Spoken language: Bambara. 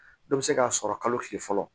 Dɔ bɛ se k'a sɔrɔ kalo tile fɔlɔ